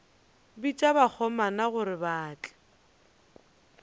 bitša bakgomana gore ba tle